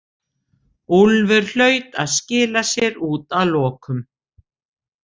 Úlfur hlaut að skila sér út að lokum.